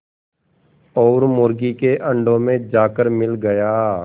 और मुर्गी के अंडों में जाकर मिल गया